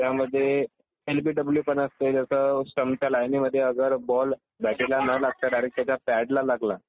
त्यामध्ये एलबीडब्लू पण असते जसं स्टंपच्या लाईनेमधे अगर बॉल बॅटीला न लागता जर डायरेक्ट त्याच्या पॅडला लागला